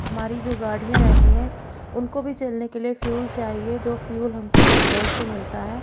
हमारी जो गाड़ियां रहती हैं उनको भी चलने के लिए फ्यूल चाहिए जो फ्यूल हमको पेट्रोल से मिलता है।